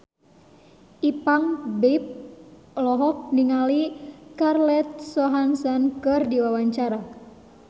Ipank BIP olohok ningali Scarlett Johansson keur diwawancara